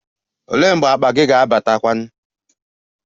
Olee mgbe akpa gị ga-abata?